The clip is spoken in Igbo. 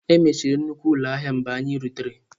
E mechiri nnukwu ụlọ ahịa mgbe anyị rutere.